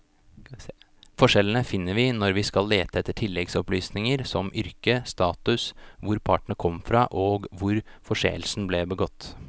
Forskjellene finner vi når vi skal lete etter tilleggsopplysninger som yrke, status, hvor partene kom fra og hvor forseelsen ble begått.